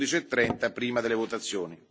11.30, prima delle votazioni.